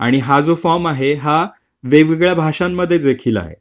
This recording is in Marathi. आणि हा जो फॉर्म आहे हा वेगवेगळ्या भाषांमध्ये देखील आहे.